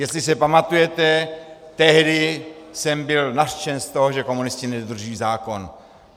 Jestli se pamatujete, tehdy jsem byl nařčen z toho, že komunisti nedodržují zákon.